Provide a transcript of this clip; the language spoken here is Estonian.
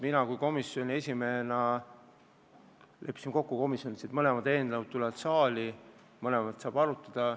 Mina komisjoni esimehena leppisin komisjonis kokku, et mõlemad eelnõud tulevad saali, mõlemat saab arutada.